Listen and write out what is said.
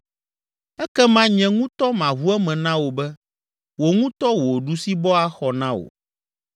Ekema nye ŋutɔ maʋu eme na wò be, wò ŋutɔ wò ɖusibɔ axɔ na wò.